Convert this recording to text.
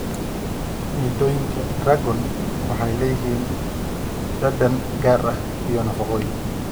Midhooyinka dragon waxay leeyihiin dhadhan gaar ah iyo nafaqooyin.